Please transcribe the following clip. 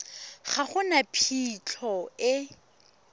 ga go na phitlho e